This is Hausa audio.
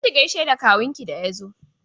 Tafi ki gaishe da kawunki da ya zo!